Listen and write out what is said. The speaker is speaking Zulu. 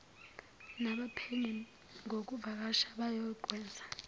nabaphenyi ngokuvakasha abayokwenza